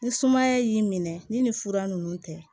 Ni sumaya y'i minɛ ni fura nunnu tɛ